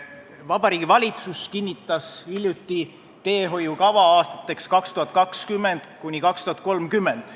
Vabariigi Valitsus kinnitas hiljuti teehoiukava aastateks 2020–2030.